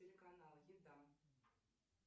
телеканал еда